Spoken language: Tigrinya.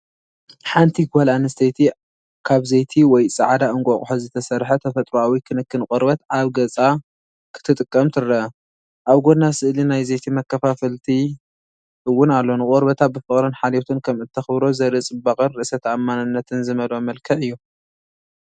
ኣብዚ ሓንቲ ጓል ኣንስተይቲ ካብ ዘይቲ ወይ ጻዕዳ እንቋቑሖ ዝተሰርሐ ተፈጥሮኣዊ ክንክን ቆርበት ኣብ ገጻ ክትጥቀም ትርአ። ኣብ ጎና ስእሊ ናይ ዘይቲ መከፋፈልቲ እውን ኣሎ። ንቆርበታ ብፍቕርን ሓልዮትን ከም እተኽብሮ ዘርኢ ጽባቐን ርእሰ ተኣማንነትን ዝመልኦ መልክዕ እዩ።